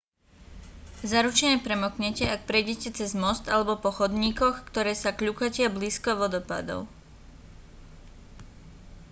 zaručene premoknete ak prejdete cez most alebo po chodníkoch ktoré sa kľukatia blízko vodopádov